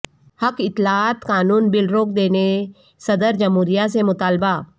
حق اطلاعات قانون بل روک دینے صدر جمہوریہ سے مطالبہ